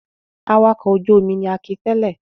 Awakọ̀ ojú-omi ni Akin tẹ̀lé.